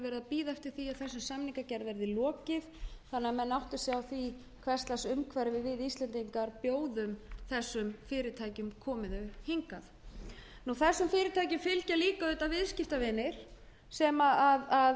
bíða eftir því að þessari samningagerð verði lokið þannig að menn átti sig á því hvers lags umhverfi við íslendingar bjóðum slíkum fyrirtækjum komi þau hingað þessum fyrirtækjum fylgja líka viðskiptavinir sem eru mjög stórir